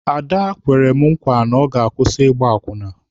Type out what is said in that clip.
Ada kwere mụ nkwa ka ọ ga-akwụsị ịgba akwụna.